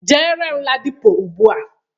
Jere m Ladipo ugbua!